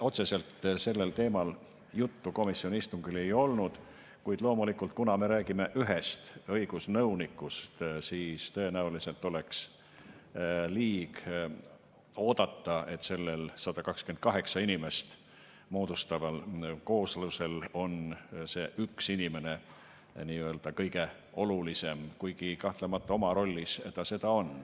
Otseselt sellel teemal juttu komisjoni istungil ei olnud, kuid loomulikult, kuna me räägime ühest õigusnõunikust, siis tõenäoliselt oleks liig oodata, et selles 128 inimesest moodustuvas koosluses on see üks inimene nii-öelda kõige olulisem, kuigi kahtlemata oma rollis ta seda on.